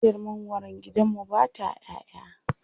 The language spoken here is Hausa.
Bishiyar mangwaron gidan mu ba ta ƴaʼƴa.